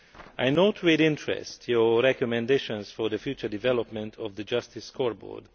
I note with interest your recommendations for the future development of the Justice Scoreboard.